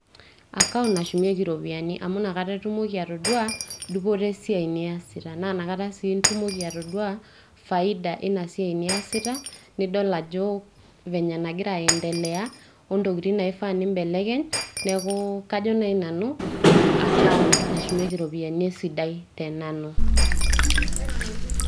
Account nashumieki irropiyiani, amu inakata itumoki atodua dupoto e siai niyasita. Naa inakata sii itumoki atodua faida inasiai niyasita. Nidol ajo venye nang`ira aendelea o ntokitin naifaa nimbelekeny. Niaku kajo naaji nanu account nashumieki irropiyiani e sidai te nanu.